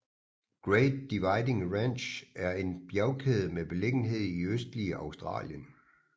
Great Dividing Range er en bjergkæde med beliggenhed i østlige Australien